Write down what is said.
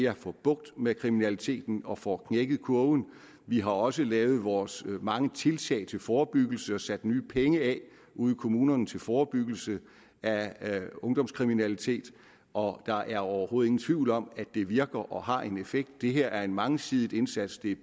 at få bugt med kriminaliteten og får knækket kurven vi har også lavet vores mange tiltag til forebyggelse og sat nye penge af ude i kommunerne til forebyggelse af ungdomskriminalitet og der er overhovedet ingen tvivl om at det virker og har en effekt det her er en mangesidet indsats det er